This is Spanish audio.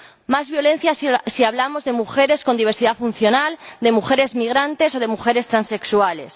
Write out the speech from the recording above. Más violencia si hablamos de mujeres con diversidad funcional, de mujeres migrantes o de mujeres transexuales.